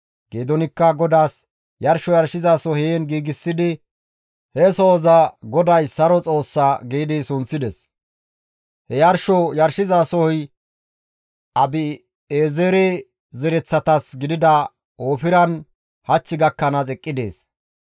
Geedoonikka GODAAS yarsho yarshizaso heen giigsidi he sohoza, «GODAY Saro Xoossa» giidi sunththides; he yarsho yarshizasoy Abi7eezere zereththatas gidida Oofiran hach gakkanaas eqqi dees.